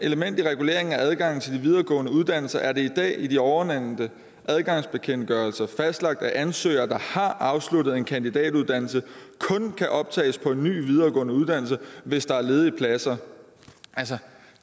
element i regulering af adgangen til de videregående uddannelser er det i dag i de ovennævnte adgangsbekendtgørelser fastlagt at ansøgere der har afsluttet en kandidatuddannelse kun kan optages på en ny videregående uddannelse hvis der er ledige pladser altså